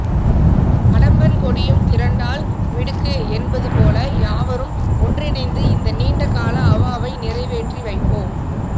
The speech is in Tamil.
அடம்பன் கொடியும் திரண்டால் மிடுக்கு என்பது போல யாவரும் ஒன்றிணைந்து இந்த நீண்ட கால அவாவை நிறைவேற்றி வைப்போம்